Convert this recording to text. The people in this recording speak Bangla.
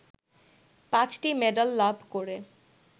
৫টি মেডাল লাভ করে